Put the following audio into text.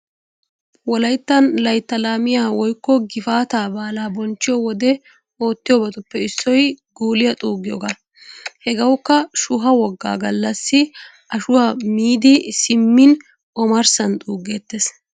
Wolayttan layttaa laamiya woykko gifaataa baalaa bonchchiyo wode oittiyobatuppe issoy guuliya xuuggiyogaa. Hegewkka shuha woggaa gallassi ashuwa miidi simmin omarssan xuugettees.